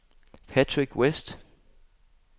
Patrick Westh